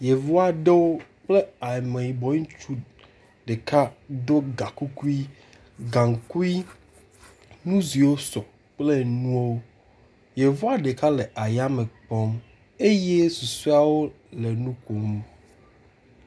Yevu aɖewo kple ameyibɔ ŋutsu ɖeka ɖo ga kukui, gaŋkui, nu ziwo sɔ kple enuwo. Yevua ɖeka le yame kpɔm eye susɔeawo le nu kom.